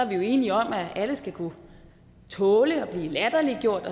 vi jo enige om at alle skal kunne tåle at blive latterliggjort